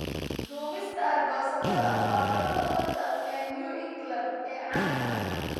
Duubista aargoosatada waa cunnada badda ee New England ee caanka ah.